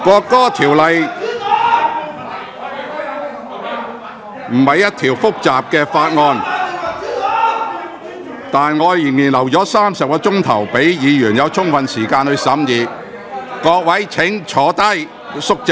《國歌條例草案》並不是一項複雜的法案，但我仍然預留了多達30小時，讓議員有充分時間審議《條例草案》......